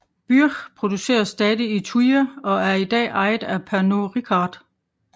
Byrrh produceres stadig i Thuir og er i dag ejet af Pernod Ricard